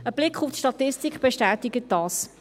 Ein Blick auf die Statistik bestätigt dies.